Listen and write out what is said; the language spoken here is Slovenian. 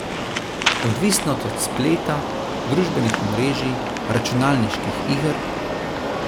Odvisnost od spleta, družbenih omrežij, računalniških iger?